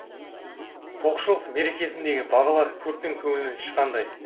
тоқшылық мерекесіндегі бағалар көптің көңілінен шыққандай